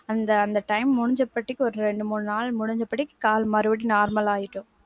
அந்த, அந்த time முடிஞ்ச அப்புறம் ஒரு ரெண்டு மூணு நாள் முடிஞ்சப்படி கால் மறுபடியும் normal ஆயிடும்.